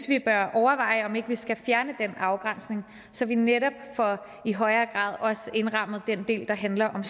vi bør overveje om ikke vi skal fjerne den afgrænsning så vi netop i højere grad også får indrammet den del der handler om